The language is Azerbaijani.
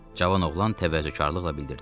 Cavan oğlan təvəzzökarlıqla bildirdi.